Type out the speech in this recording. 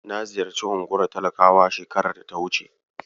Na ziyarci unguwar talakawa shekarar da ta wuce.